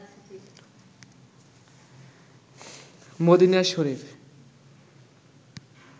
Medina Sharif